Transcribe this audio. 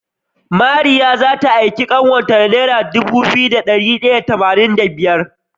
Mariya zata aiki kanwar ta da naira Dubu biyu da dari daya da tamanin da biyar